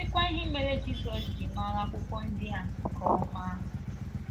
Ka m sịkwa ihe mere Jizọs ji mara akwụkwọ ndi a nke ọma!